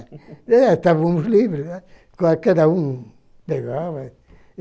Estávamos livres, né, qualquer um pegava.